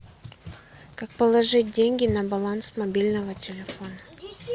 как положить деньги на баланс мобильного телефона